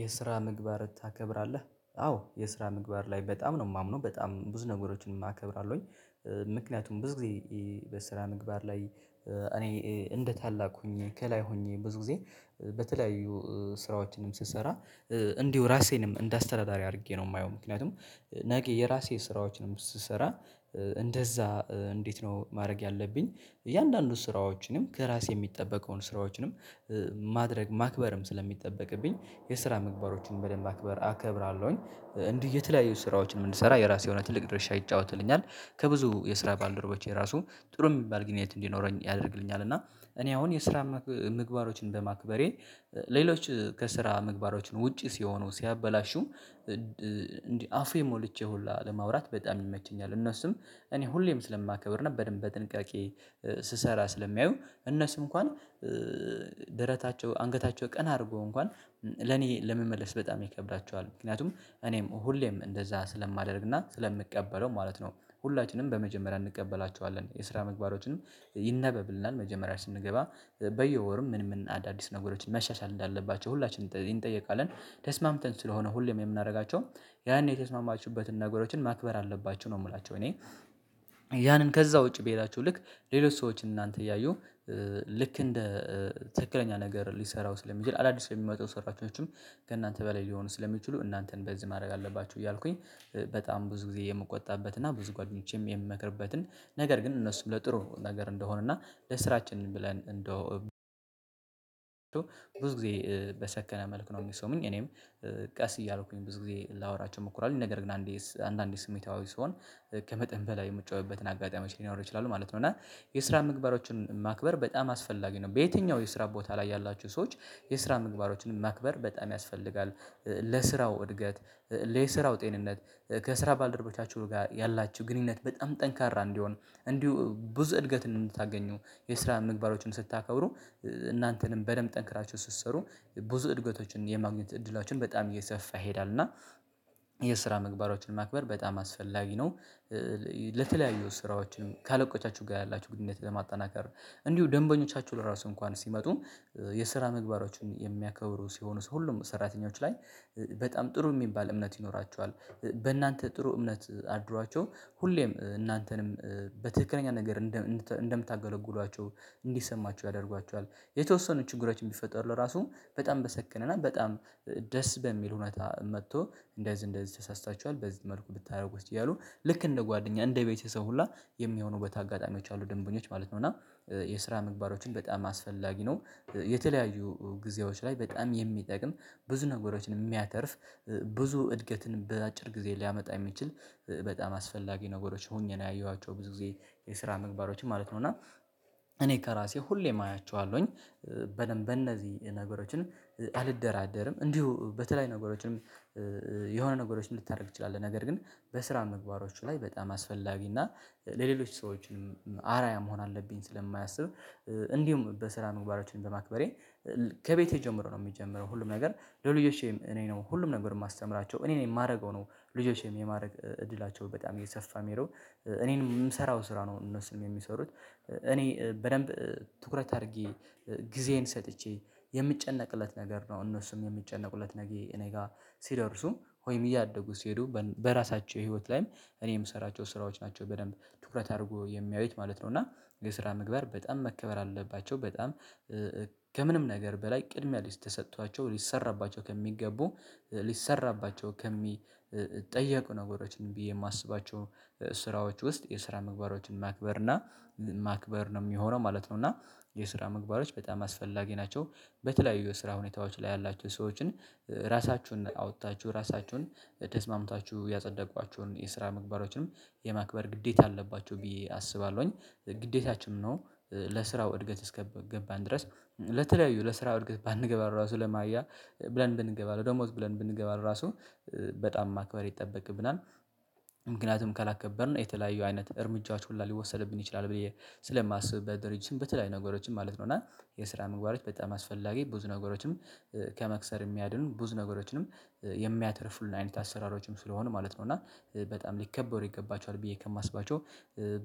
የስራ ምግባር ታከብራለህ አዎ የስራ ምግባር ላይ በጣም ነው የማምነው በጣም ብዙ ነገሮችን አከብራለሁኝ። ምክንያቱም ብዙ ጊዜ በስራ ምግባር ላይ እኔ እንደ ታላቅ ሆኜ ከላይ ሆኜ ብዙ ጊዜ በተለያዩ ስራዎችንም ስሰራ እንዲሁ ራሴንም እንደ አስተዳዳሪ አድርጌ ነው የማየው ምክንያቱም ነገ የራሴ ስራዎችንም ስሰራ እንደዛ እንዴት ነው ማድረግ ያለብኝ እያንዳንዱ ስራዎችንም ከራሴ የሚጠበቀውን ስራዎችንም ማድረግ ማክበርም ስለሚጠበቅብኝ የስራ ምግባሮችን በደንብ አክበር አከብራለሁኝ። እንዲህ የተለያዩ ስራዎችን የምንሰራ የራሴ የሆነ ትልቅ ድርሻ ይጫወትልኛል ከብዙ የስራ ባልደረቦቼ ራሱ ጥሩ የሚባል ግንኙነት እንዲኖረኝ ያደርግልኛል። እና እኔ አሁን የስራ ምግባሮችን በማክበሬ ሌሎች ከስራ ምግባሮች ውጪ ሲሆኑ ሲያበላሹ። እንዲህ አፉ ሞልቼ ሁላ ለማውራት በጣም ይመቸኛል እነሱም እኔ ሁሌም ስለማከብር ነበር በደንብ በጥንቃቄ ስሰራ ስለሚያዩ እነሱ እንኳን ደረታቸው አንገታቸው ቀን አድርጎ እንኳን ለኔ ለመመለስ በጣም ይከብዳቸዋል ምክንያቱም እኔም ሁሌም እንደዛ ስለማደርግና ስለምቀበለው ማለት ነው። ሁላችንም በመጀመሪያ እንቀበላቸዋለን የስራ ምግባሮችን ይነበብልናል መጀመሪያ ስንገባ በየወርም ምን ምን አዳዲስ ነገሮችን መሻሻል እንዳለባቸው ሁላችንም እንጠየቃልን ደረታቸው አንገታቸው ቀን አድርጎ እንኳን ለኔ ለመመለስ በጣም ይከብዳቸዋል ምክንያቱም እኔም ሁሌም እንደዛ ስለማደርግና ስለምቀበለው ማለት ነው ሁላችንም በመጀመሪያ እንቀበላቸዋለን የስራ ምግባሮችን ይነበብልናል መጀመሪያ ስንገባ በየወርም ምን ምን አዳዲስ ነገሮችን መሻሻል እንዳለባቸው ሁላችንም እንጠየቃለን። ልክ እንደ ትክክለኛ ነገር ሊሰራው ስለሚችል አዳዲስ የሚመጡ ሰራተኞችም ከእናንተ በላይ ሊሆኑ ስለሚችሉ እናንተን በዚህ ማድረግ አለባችሁ እያልኩኝ በጣም ብዙ ጊዜ የምቆጣበት እና ብዙ ጓደኞቼም የምመክርበትን ነገር ግን እነሱም ለጥሩ ነገር እንደሆነና ለስራችን ብለን እንደው ብዙ ጊዜ በሰከነ መልኩ ነው የሚሰሙኝ እኔም ቀስ እያልኩኝ ብዙ ጊዜ ላወራቸው እሞክራለው ነገር ግን አንዴ አንዳንዴ ስሜታዊ ስሆን ከመጠን በላይ የምጮህበትን አጋጣሚዎች ሊኖር ይችላሉ ማለት ነው። እና የስራ ምግባሮችን ማክበር በጣም አስፈላጊ ነው በየትኛው የስራ ቦታ ላይ ያላችሁ ሰዎች የስራ ምግባሮችን ማክበር በጣም ያስፈልጋል። ለስራው እድገት ለስራው ጤንነት ከስራ ባልደረቦቻችሁ ጋር ያላችሁ ግንኙነት በጣም ጠንካራ እንዲሆን እንዲሁ ብዙ እድገትን ነው የምታገኘው የስራ ምግባሮችን ስታከብሩ እናንተንም በደንብ ጠንክራችሁ ስትሰሩ ብዙ እድገቶችን የማግኘት እድላችሁን በጣም እየሰፋ ይሄዳል እና የስራ ምግባሮችን ማክበር በጣም አስፈላጊ ነው። ለተለያዩ ስራዎችን ካለቆቻችሁ ጋር ያላችሁ ግንኙነት ለማጠናከር እንዲሁ ደንበኞቻችሁ ለራሱ እንኳን ሲመጡ የስራ ምግባሮችን የሚያከብሩ ሲሆኑ ሰው ሁሉም ሰራተኞች ላይ በጣም ጥሩ የሚባል እምነት ይኖራችኃል። በእናንተ ጥሩ እምነት አድሯቸው ሁሌም እናንተንም በትክክለኛ ነገር እንደምታገለግሏቸው እንዲሰማቸው ያደርጓቸዋል የተወሰኑ ችግሮችን ቢፈጠሩ ለራሱ በጣም በሰከነና በጣም ደስ በሚል ሁኔታ መጥቶ እንደዚህ እንደዚህ ተሳስተችኃል በዚህ መልኩ ብታደርጉት እያሉ ልክ እንደ ጓደኛ እንደ ቤተሰብ ሁላ የሚሆኑ አጋጣሚዎች አሉ ደንበኞች ማለት ነው። እና የስራ ምግባሮችን በጣም አስፈላጊ ነው የተለያዩ ጊዜዎች ላይ በጣም የሚጠቅም ብዙ ነገሮችን የሚያተርፍ ብዙ እድገትን በአጭር ጊዜ ሊያመጣ የሚችል በጣም አስፈላጊ ነገሮች ሆኜ ነው ያየኋቸው ብዙ ጊዜ የስራ ምግባሮችን ማለት ነው እና እኔ ከራሴ ሁሌም አያቸዋለሁኝ። በደንብ በእነዚህ ነገሮችን አልደራደርም እንዲሁ በተለይ ነገሮችንም የሆነ ነገሮችን ልታደርግ ትችላለህ ነገር ግን በስራ ምግባሮች ላይ በጣም አስፈላጊ እና ለሌሎች ሰዎችም አራያ መሆን አለብኝ ስለማያስብ። እንዲሁም በስራ ምግባሮችን በማክበሬ ከቤቴ ጀምሮ ነው የሚጀምረው ሁሉም ነገር ለልጆቼም እኔ ነው ሁሉም ነገር የማስተምራቸው እኔ ነኝ የማደርገው ነው ልጆቼም የማድረግ እድላቸው በጣም እየሰፋ የሚለው እኔን የምሰራው ስራ ነው እነሱም የሚሰሩት እኔ በደንብ ትኩረት አድርጌ ከቤቴ ጀምሮ ነው የሚጀምረው ሁሉም ነገር ለልጆቼም እኔ ነው ሁሉም ነገር የማስተምራቸው እኔ ነኝ የማደርገው ነው ልጆቼም የማድረግ እድላቸው በጣም እየሰፋ የሚለው እኔን የምሰራው ስራ ነው። እነሱም የሚሰሩት እኔ በደንብ ትኩረት አድርጌ ሲደርሱ ወይም እያደጉት ሲሄዱ በራሳቸው ህይወት ላይም እኔ የምሰራቸው ስራዎች ናቸው በደንብ ትኩረት አድርጎ የሚያዩት ማለት ነው። እና የስራ ምግባር በጣም መከበር አለባቸው በጣም ከምንም ነገር በላይ ቅድሚያ ልስጥ ተሰጥቷቸው ሊሰራባቸው ከሚገቡ ሊሰራባቸው ከሚጠየቁ ነገሮችን ብዬ የማስባቸው ስራዎች ውስጥ የስራ ምግባሮችን ማክበር እና ማክበር ነው የሚሆነው ማለት ነው። እና የስራ ምግባሮች በጣም አስፈላጊ ናቸው። በተለያዩ የስራ ሁኔታዎች ላይ ያላችሁ ሰዎችን ራሳችሁን አውጥታችሁ ራሳችሁን ተስማምታችሁ ያጸደቋችሁን የስራ ምግባሮችንም የማክበር ግዴታ አለባቸው ቢዬ አስባለሁኝ። ግዴታችንም ነው። ለስራው እድገት እስከገባን ድረስ ለተለያዩ ለስራው እድገት ባንገባ ራሱ ለማወያ ብለን ብንገባ ለደሞዝ ብለን ብንገባለው ራሱ በጣም ማክባሪ ይጠበቅብናል። ምክንያቱም ካላከበርን የተለያዩ አይነት እርምጃዎች ሁላ ሊወሰድብን ይችላል ብዬ ስለማስብበት በድርጅትም በተለያዩ ነገሮችን ማለት ነው። እና የስራ ምግባሮች በጣም አስፈላጊ ብዙ ነገሮችንም ከመክሰር የሚያድን ብዙ ነገሮችንም የሚያተርፉልን አይነት አሰራሮችም ስለሆኑ ማለት ነው። እና በጣም ሊከበር ይገባቸዋል ብዬ ከማስባቸው